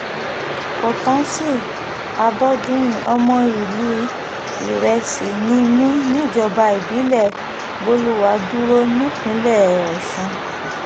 kọ́ńtántì adọdúnrin ọmọ ìlú um ìrẹsì ni mí níjọba ìbílẹ̀ bolùwàdúró nípínlẹ̀ ọ̀sùn um